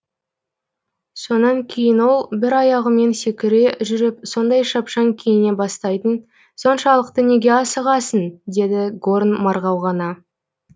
сонан кейін ол бір аяғымен секіре жүріп сондай шапшаң киіне бастайтын соншалықты неге асығасың деді горн марғау ғана